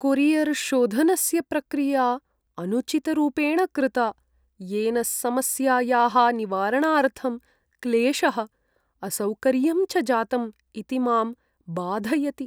कोरियर्शोधनस्य प्रक्रिया अनुचितरूपेण कृता, येन समस्यायाः निवारणार्थं क्लेशः, असौकर्यं च जातम् इति मां बाधयति।